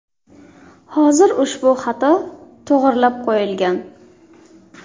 Hozir ushbu xato to‘g‘irlab qo‘yilgan.